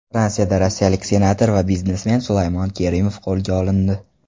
Fransiyada rossiyalik senator va biznesmen Sulaymon Kerimov qo‘lga olindi.